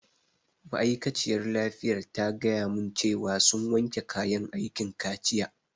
Ma'aikaciyar lafiyar ta gaya mun cewa sun wanke kayan aikin kaciya